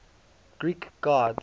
greek gods